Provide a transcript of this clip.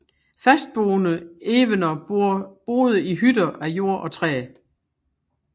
Fastboende evener boede i hytter af jord og træ